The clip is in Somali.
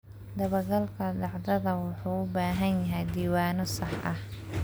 Dabagalka dhacdada wuxuu u baahan yahay diiwaanno sax ah.